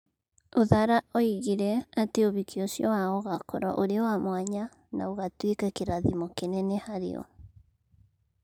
Uthara oigire ati ũhiki ũcio wao ũgaakorũo ũrĩ wa mwanya na ũgaatuĩka kĩrathimo kĩnene harĩ o.